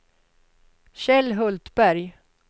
Kjell Hultberg